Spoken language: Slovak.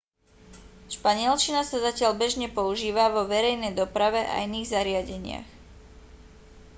španielčina sa zatiaľ bežne používa vo verejnej doprave a iných zariadeniach